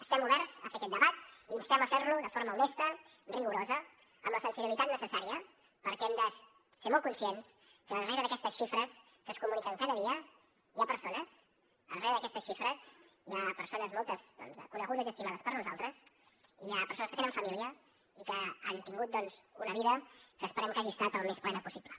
estem oberts a fer aquest debat i instem a fer lo de forma honesta rigorosa amb la sensibilitat necessària perquè hem de ser molt conscients que rere d’aquestes xifres que es comuniquen cada dia hi ha persones rere aquestes xifres hi ha persones moltes doncs conegudes i estimades per nosaltres hi ha persones que tenen família i que han tingut una vida que esperem que hagi estat el més plena possible